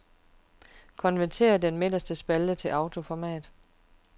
Konvertér den midterste spalte til autoformat.